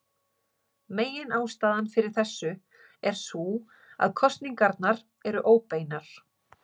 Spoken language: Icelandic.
Meginástæðan fyrir þessu er sú að kosningarnar eru óbeinar.